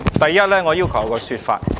第一，我要求一個說法。